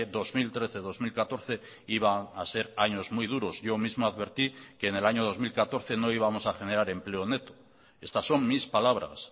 dos mil trece dos mil catorce iban a ser años muy duros yo mismo advertí que en el año dos mil catorce no íbamos a generar empleo neto estas son mis palabras